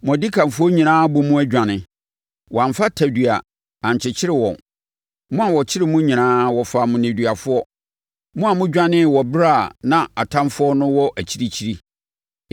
Mo adikanfoɔ nyinaa abɔ mu adwane; wɔamfa tadua ankyekyere wɔn. Mo a wɔkyere mo nyinaa wɔfaa mo nneduafoɔ; mo a modwanee wɔ ɛberɛ a na atamfoɔ no wɔ akyirikyiri.